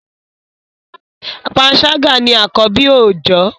panṣaga ní akọbi oojọ